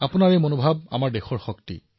আপোনাৰ এই ভাৱনাই দেশৰ শক্তি